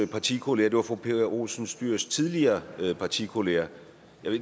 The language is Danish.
partikollega det var fru pia olsen dyhrs tidligere partikollega